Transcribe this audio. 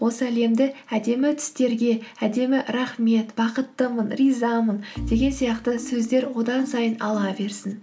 осы әлемді әдемі түстерге әдемі рахмет бақыттымын ризамын деген сияқты сөздер одан сайын ала берсін